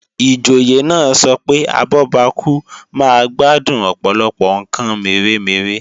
Ìjòyè náà sọ pé abọ́bakú máa gbádùn Ọ̀pọ̀lọpọ̀ ǹkan mèremère